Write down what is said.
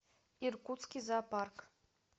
иркутский зоопарк